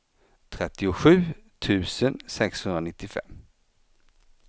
trettiosju tusen sexhundranittiofem